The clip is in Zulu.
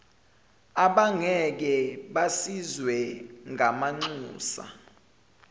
abangeke basizwe ngamanxusa